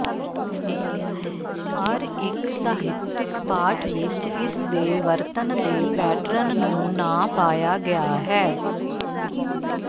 ਪਰ ਇੱਕ ਸਾਹਿਤਕ ਪਾਠ ਵਿੱਚ ਇਸ ਦੇ ਵਰਤਣ ਦੇ ਪੈਟਰਨ ਨੂੰ ਨਾ ਪਾਇਆ ਗਿਆ ਹੈ